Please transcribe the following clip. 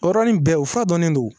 O yɔrɔnin bɛɛ o fura dɔnnen don